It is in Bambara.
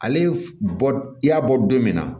Ale bɔ i y'a bɔ don min na